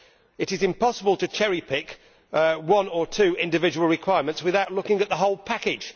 It is impossible to cherry pick one or two individual requirements without looking at the whole package.